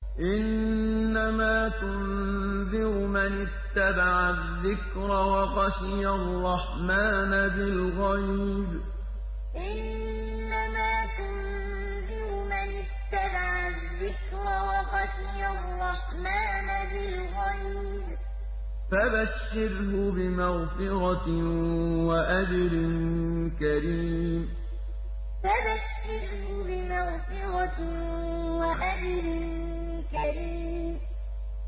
إِنَّمَا تُنذِرُ مَنِ اتَّبَعَ الذِّكْرَ وَخَشِيَ الرَّحْمَٰنَ بِالْغَيْبِ ۖ فَبَشِّرْهُ بِمَغْفِرَةٍ وَأَجْرٍ كَرِيمٍ إِنَّمَا تُنذِرُ مَنِ اتَّبَعَ الذِّكْرَ وَخَشِيَ الرَّحْمَٰنَ بِالْغَيْبِ ۖ فَبَشِّرْهُ بِمَغْفِرَةٍ وَأَجْرٍ كَرِيمٍ